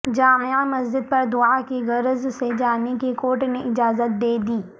جامع مسجد پر دعاءکی غرض سے جانے کی کورٹ نے اجازت دے دی ہ